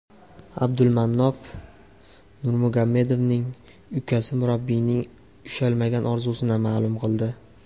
Abdulmanap Nurmagomedovning ukasi murabbiyning ushalmagan orzusini ma’lum qildi.